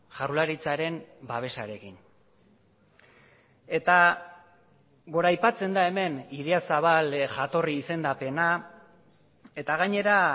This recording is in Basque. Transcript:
jaurlaritzaren babesarekin eta goraipatzen da hemen idiazabal jatorri izendapena eta gainera